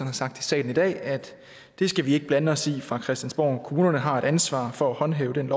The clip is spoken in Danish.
har sagt i salen i dag at det skal vi ikke blande os i fra christiansborg side kommunerne har et ansvar for at håndhæve den